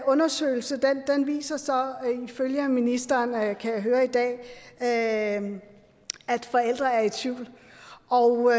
undersøgelse viser så ifølge ministeren kan jeg høre i dag at at forældre er i tvivl og